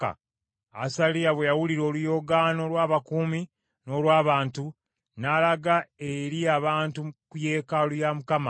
Asaliya bwe yawulira oluyoogaano lw’abakuumi n’olw’abantu, n’alaga eri abantu ku yeekaalu ya Mukama .